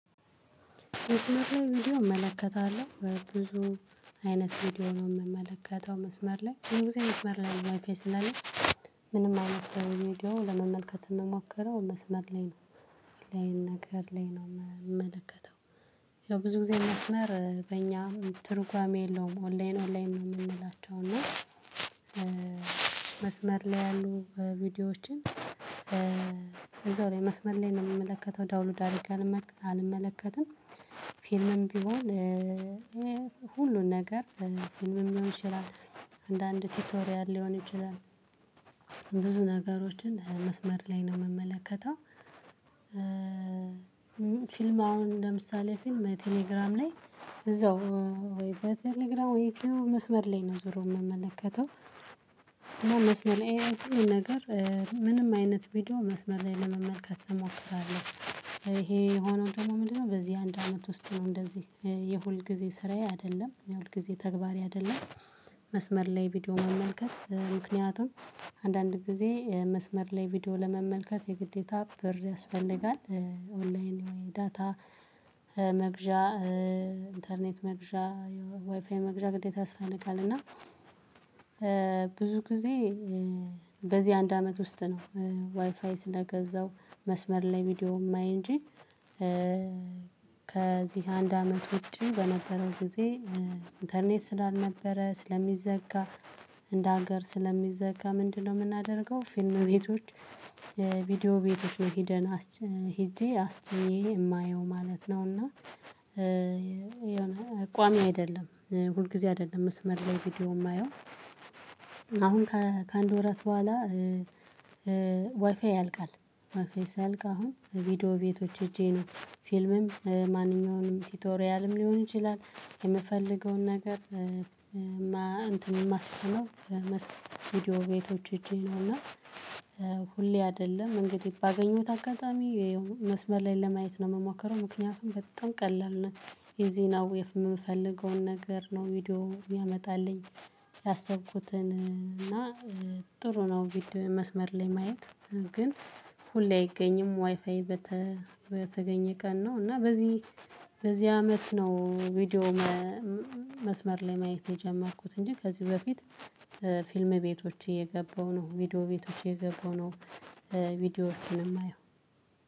መስመር ላይ ቪዲዮ እመለከታለሁ ብዙ አይነት ቪዲዮ ነው የምመለከተው መስመር ላይ ብዙ ጊዜ መስመር ላይ ዋይፋይ ስላለ ምንም አይነት ቪዲዮ ለመመልከት የምሞከረው መስመር ላይ ነው ኦንላይ ነገር ላይ ነው የምመለከተው። ያው ብዙ ጊዜ መስመር በእኛም ትርጓሜ የለውም ኦንላይን ኦንላይን ነው የምንላቸው እና መስመር ላይ ያሉ ቪዲዮዎችን እዛው ላይ መስመር ላይ ነው የምመለከተው ዳውንሎድ አድርጌ አንመለከትም። ፊልምም ቢሆን ሁሉን ነገር ፊልምም ሊሆን ይችላል አንዳንድ ቲቶሪያል ሊሆን ይችላል ብዙ ነገሮችን መስመር ላይ ነው የምመለከተው። ፊልም አሁን ለምሳሌ ፊልም ቴሌግራም ላይ እዛው ወይ ቴሌግራም ወይ ዩቲዩብ መስመር ላይ ነው ዞሮ የምመለከተው። መስመር የትኛውም ነገር ምንም አይነት ቪዲዮ መስመር ላይ ለመመልከት እንሞክራለን ይሄ የሆነው ደግሞ ምንድነው? በዚህ አንድ አመት ውስጥ ነው እንደዚህ የሁል ጊዜ ስራዬ አይደለም የሁል ጊዜ ተግባሪ አይደለም። መስመር ላይ ቪዲዮ መመልከት ምክንያቱም አንዳንድ ጊዜ መስመር ላይ ቪዲዮ ለመመልከት የግዴታ ብር ያስፈልጋል። ኦንላይን ወይ ዳታ መግዣ ኢንተርኔት መግዣ ዋይፋይ መግዣ ግዴታ ያስፈልጋል። እና ብዙ ጊዜ በዚህ አንድ አመት ውስጥ ነው ዋይፋይ ስለገዛው መስመር ላይ ቪዲዮ የማይ እንጂ ከዚህ አንድ አመት ውጪ በነበረው ጊዜ ኢንተርኔት ስላልነበረ ስለሚዘጋ እንደ ሀገር ስለሚዘጋ ምንድነው የምናደርገው? ፊልም ቤቶች ቪዲዮ ቤቶች ሄደን ሄጄ አስጭኜ የማየው ማለት ነውና። የሆነ ቋሚ አይደለም ሁል ጊዜ አይደለም መስመር ላይ ቪዲዮ የማየው። አሁን ከአንድ ወራት በኋላ ዋይፋይ ያልቃል። ዋይፋይ ሲያልቅ አሁን ቪዲዮ ቤቶች ሄጄ ነው ፊልምም ማንኛውንም ቲቶሪያልም ሊሆን ይችላል የምፈልገውን ነገር እንትን የማስጭነው ቪዲዮ ቤቶች ሂጄ ነውና። እና ሁሌ አይደለም እንግዲ ባገኘሁት አጋጣሚ መስመር ላይ ለማየት ነው የምሞከረው። ምክንያቱም በጣም ቀላል ነው። እዚህ ነው የምፈልገውን ነገር ነው ቪዲዮ የሚያመጣልኝ። ያሰብኩትን እና ጥሩ ነው ቪዲዮ መስመር ላይ ማየት። ግን ሁሌ አይገኝም ዋይፋይ። በተገኘ ቀን ነው እና በዚህ በዚህ አመት ነው ቪዲዮ መስመር ላይ ማየት የጀመርኩት። እንጂ ከዚህ በፊት ፊልም ቤቶች እየገባው ነው ቪዲዮ ቤቶች እየገባው ነው። ቪዲዮዎችን የማየው።